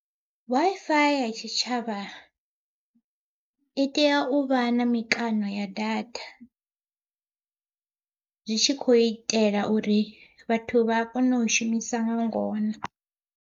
Wi-Fi ya tshitshavha i tea u vha na mikano ya datha, zwi tshi khou itela uri vhathu vha kone u shumisa nga ngona.